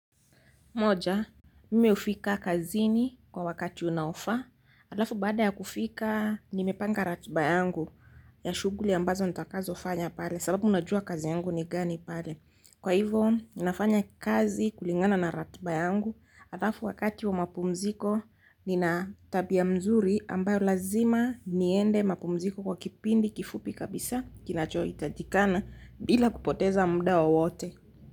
Moja, mimi hufika kazini kwa wakati unaofaa. Alafu baada ya kufikia nimepanga ratiba yangu ya shughuli ambazo nitakazo fanya pale sababu ninajua kazi yangu ni gani pale. Kwa hivo, ninafanya kazi kulingana na ratiba yangu. Halafu wakati wa mapumziko, nina tabia mzuri ambayo lazima niende mapumziko kwa kipindi kifupi kabisa. Kinachohitajikana bila kupoteza muda wowote.